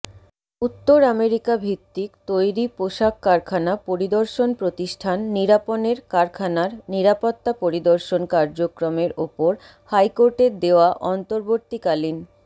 উত্তর আমেরিকাভিত্তিক তৈরিপোশাক কারাখানা পরিদর্শন প্রতিষ্ঠান নিরাপনের কারখানার নিরাপত্তা পরিদর্শন কার্যক্রমের ওপর হাইকোর্টের দেওয়া অন্তবর্তীকালীন